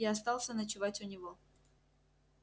я остался ночевать у него